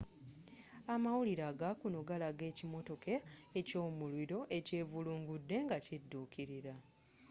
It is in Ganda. amawulire agakuno galaga ekimotoka kyomuliro ekyevulungudde nga kiduukilira